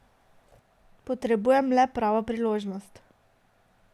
Potrebujem le pravo priložnost.